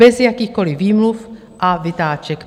Bez jakýchkoli výmluv a vytáček.